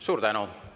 Suur tänu!